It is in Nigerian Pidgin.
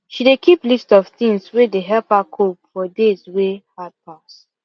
she dey keep list of things wey dey help her cope for days wey hard pass